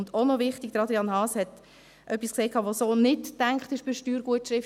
Auch wichtig: Adrian Haas hat etwas gesagt, das so nicht gedacht ist bei der Steuergutschrift.